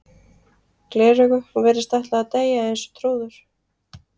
gleraugu og virðist ætla að deyja eins og trúður.